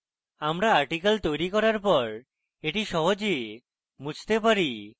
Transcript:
আমরা articles তৈরী করার পর এটি সহজে মুছতে পারি